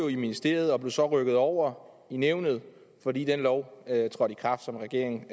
i ministeriet og blev så rykket over i nævnet fordi den lov som regeringen